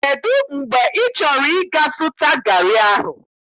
Kedụ mgbe ị chọrọ 'ga zụta garị ahụ?